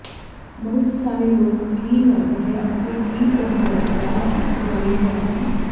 ਬਹੁਤ ਸਾਰੇ ਲੋਕ ਕੀ ਹੱਬ ਹੈ ਅਤੇ ਕੀ ਉਹ ਵਰਤਦਾ ਹੈ ਇਸ ਬਾਰੇ ਹੈਰਾਨ